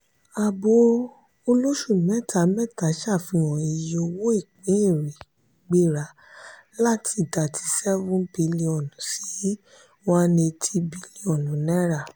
àbò olóṣù mẹta-mẹta ṣafihan iye owó ìpín èrè gbéra láti thirty seven bílíọ̀nù sí one hundred eighty bílíọ̀nù naira